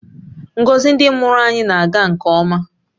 Ngọzi ndị mụrụ anyị na-aga nke ọma